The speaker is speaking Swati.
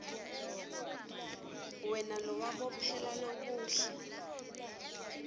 wena lowabophela lokuhle